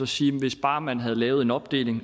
sige hvis bare man havde lavet en opdeling